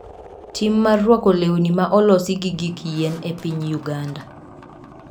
Tim mar rwako lewni ma olosi gi gik yien e piny Uganda.